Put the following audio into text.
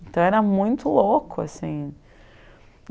Então, era muito louco assim.